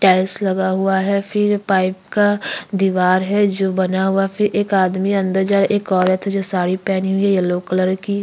tiles लगा हुआ है फिर पाइप का दीवार है जो बना हुआ फिर एक आदमी अंदर जा रहा एक औरत है जो साड़ी पहनी हुई हैं येलो कलर की--